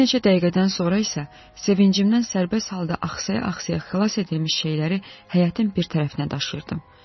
Bir neçə dəqiqədən sonra isə sevincimdən sərbəst halda axsaya-axsaya xilas edilmiş şeyləri həyətin bir tərəfinə daşıyırdım.